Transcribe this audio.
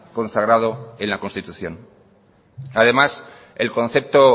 consagrado en la constitución además el concepto